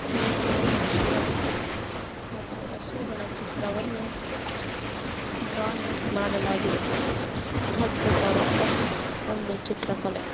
ನೋಡಲು ಪಕ್ಷಿಗಳು ಮತ್ತು ಹಸುಗಳ ಚಿತ್ರವನ್ನು ಡ್ರಾಯಿಂಗ್ ಮಾಡಲಾಗಿದೆ ಅದ್ಬುತವಾದ ಒಂದು ಚಿತ್ರಕಲೆ.